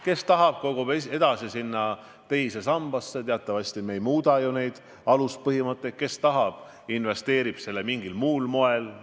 Kes tahab, kogub edasi teise sambasse – teatavasti me ei muuda ju seniseid aluspõhimõtteid –, kes tahab, investeerib selle raha mingil muul moel.